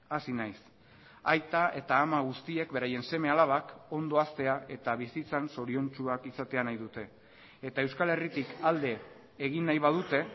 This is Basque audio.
hasi naiz aita eta ama guztiek beraien seme alabak ondo haztea eta bizitzan zoriontsuak izatea nahi dute eta euskal herritik alde egin nahi badute